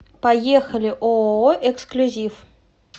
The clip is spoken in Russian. поехали ооо эксклюзив